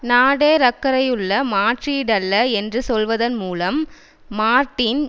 Nader அக்கறையுள்ள மாற்றீடல்ல என்று சொல்வதன் மூலம் மார்ட்டின்